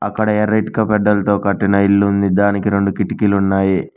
అక్కడ ఎర్ర ఇటుక గడ్డలతో కట్టిన ఇల్లు ఉంది దానికి రెండు కిటికీలు ఉన్నాయి.